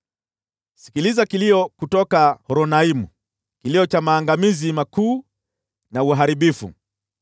Sikiliza kilio kutoka Horonaimu, kilio cha maangamizi makuu na uharibifu.